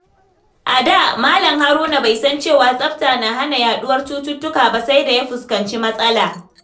A da, Malam Haruna bai san cewa tsafta na hana yaduwar cututtuka ba, sai da ya fuskanci matsala.